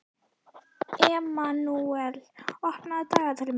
Emanúel, opnaðu dagatalið mitt.